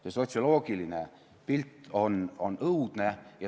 See sotsioloogiline pilt on õudne.